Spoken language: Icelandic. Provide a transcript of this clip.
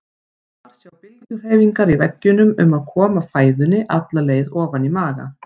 Þar sjá bylgjuhreyfingar í veggjunum um að koma fæðunni alla leið ofan í maga.